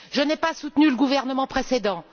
Je n'ai pas soutenu le gouvernement précédent.